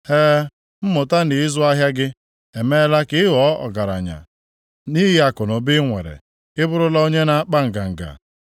E, mmụta nʼịzụ ahịa gị emeela ka ị ghọọ ọgaranya, nʼihi akụnụba inwere ị bụrụla onye na-akpa nganga.